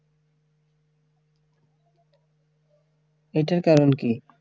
এইটার কারন কি